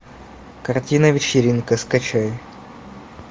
картина вечеринка скачай